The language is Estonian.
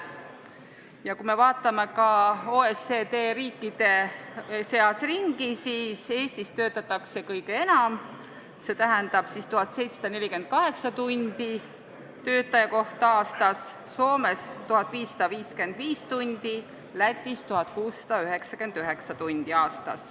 Ja kui me vaatame ka OECD riikide seas ringi, siis näeme, et Eestis töötatakse kõige enam: 1748 tundi töötaja kohta aastas, Soomes aga 1555 tundi ja Lätis 1699 tundi aastas.